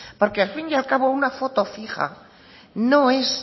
porque al fin y al cabo una foto fija no es